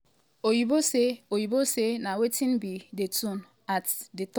oyinbo say oyinbo say na wetin be di tone at um di top?